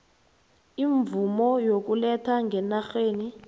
imvumo yokuletha ngenarheni